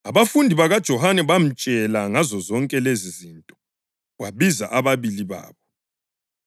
Abafundi bakaJohane bamtshela ngazozonke lezizinto. Wabiza ababili babo